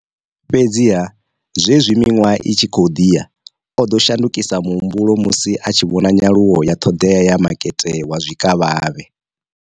Fhedziha, zwenezwi miṅwaha i tshi khou ḓi ya, o ḓo shandukisa muhumbulo musi a tshi vhona nyaluwo ya ṱhoḓea ya makete wa zwikavhavhe.